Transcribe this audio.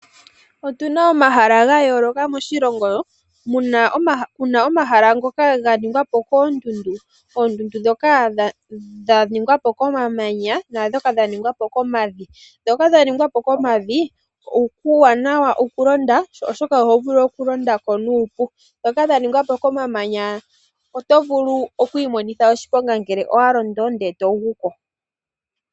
Otu na omahala ga yooloka moshilongo, pu na omahala ngoka ga ningwa po koondundu. Oondundu dhoka dha ningwa po komamanya na dhoka dhaningwa po komavi. Dhoka dha ningwa po komavi, okuuwanawa okulonda oshoka oho vulu okulonda ko nuupu. Dhoka dha ningwa po komamanya oto vulu oku imonitha oshiponga ngele owa londo, ndele to gu ko.